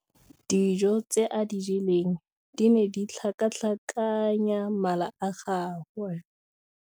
Dijô tse a di jeleng di ne di tlhakatlhakanya mala a gagwe.